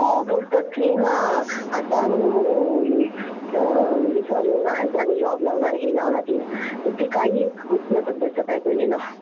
हो बोलतात कि हा आता आम्ही आता आम्ही जॉब लावणार, हे लावणार. पण ते काही होत नाही त्याचा परिणाम.